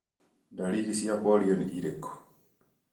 Ndariri cia polio nĩ irĩku?